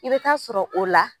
I bɛ taa sɔrɔ o la